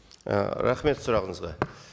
ы рахмет сұрағыңызға